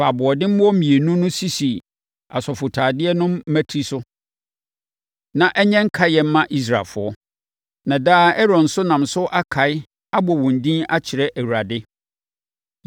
Fa aboɔdemmoɔ mmienu no sisi asɔfotadeɛ no mmati so na ɛnyɛ nkaedeɛ mma Israelfoɔ. Na daa Aaron nso nam so akae, abɔ wɔn din akyerɛ Awurade.